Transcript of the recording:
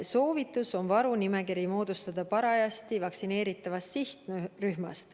Soovitus on moodustada varunimekiri parajasti vaktsineeritavast sihtrühmast.